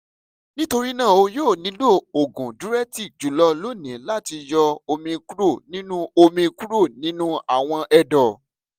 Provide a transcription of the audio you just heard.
nitorina o yoo nilo oogun diuretic julọ loni lati yọ omi kuro ninu omi kuro ninu awọn ẹdọ